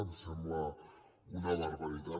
ens sembla una barbaritat